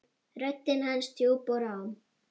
Röddin hans djúp og rám.